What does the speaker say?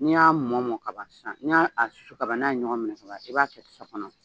N'i y'a mɔ mɔ ka ban sisan n'i y'a a susu ka ban n'a ye ɲɔgɔn minɛ ka ban i b'a kɛ tasa kɔnɔ.